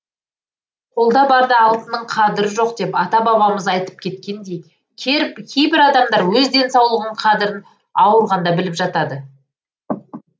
қолда барда алтынның қадірі жоқ деп ата бабамыз айтып кеткендей кейбір адамдар өз денсаулығының қадірін ауырғанда біліп жатады